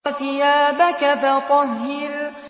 وَثِيَابَكَ فَطَهِّرْ